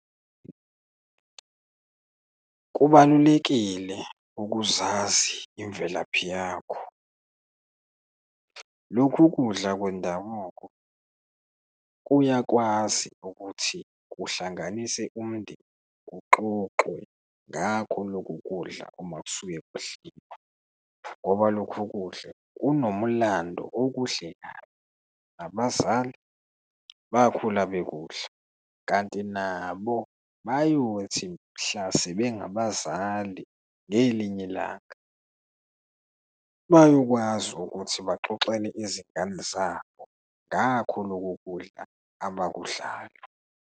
Kubalulekile ukuzazi imvelaphi yakho. Lokhu kudla kwendabuko kuyakwazi ukuthi kuhlanganise umndeni, kuxoxwe ngakho loku kudla uma kusuke kudliwa. Ngoba lokhu kudla kunomlando okuhle kabi, nabazali bakhula bekudla, kanti nabo bayothi mhla sebengabazali ngelinye ilanga, bayokwazi ukuthi baxoxele izingane zabo ngakho loku kudla abakudlayo.